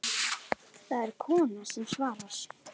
Það er kona sem svarar.